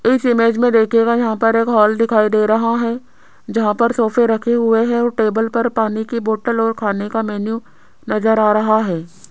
इस इमेज में देखिएगा यहां पर एक हॉल दिखाई दे रहा है जहां पर सोफे रखे हुए हैं और टेबल पर पानी की बोटल और खाने का मेन्यू नजर आ रहा है।